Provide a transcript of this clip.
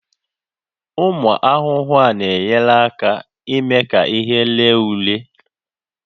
Ụmụ ahụhụ na-enyere aka n'ime ka ihe ree ure